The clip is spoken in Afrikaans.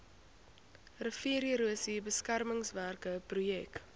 riviererosie beskermingswerke projek